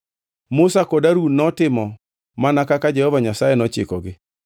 Musa kod Harun notimo mana kaka Jehova Nyasaye nochikogi.